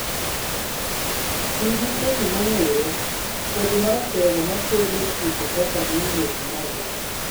Tii gi kodhi mongere , kodhi maratego makedo tuoche kaka new mwezi moja.